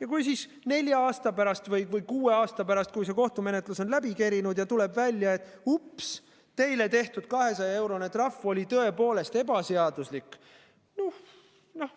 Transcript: Ja kui siis nelja aasta pärast või kuue aasta pärast, kui see kohtumenetlus on läbi kerinud ja tuleb välja, et ups, teile tehtud 200-eurone trahv oli tõepoolest ebaseaduslik – noh,